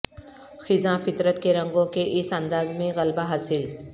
خزاں فطرت کے رنگوں کے اس انداز میں غلبہ حاصل